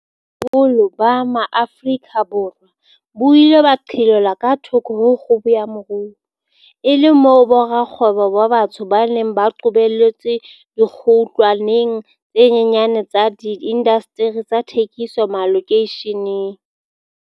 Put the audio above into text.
Boholo ba Maafrika Borwa bo ile ba qhelelwa ka thoko ho kgubu ya moruo, e le moo borakgwebo ba batsho ba neng ba qobelletswe dikgutlwaneng tse nyenyane tsa diindasteri tsa thekiso malokeisheneng.